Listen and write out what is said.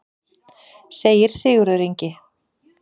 Segir Sigurður Ingi.